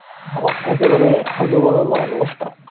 আহ একেবারে হজবরল অবস্থা